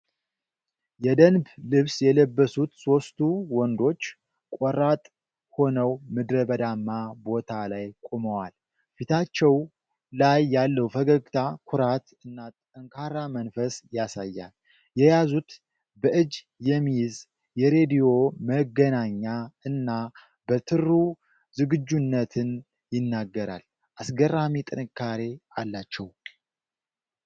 የደንብ ልብስ የለበሱት ሦስቱ ወንዶች ቆራጥ ሆነው ምድረበዳማ ቦታ ላይ ቆመዋል። ፊታቸው ላይ ያለው ፈገግታ ኩራት እና ጠንካራ መንፈስ ያሳያል። የያዙት በእጅ የሚይዝ የሬድዮ መገናኛ እና በትሩ ዝግጁነትን ይናገራል። አስገራሚ ጥንካሬ አላቸው!